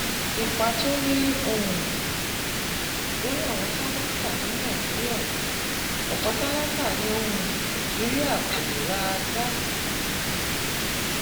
Ipa tó ní um lórí àwọn tálákà ní Nàìjíríà: Ọ̀pọ̀ tálákà ní um Nàìjíríà kò lè ra gáàsì um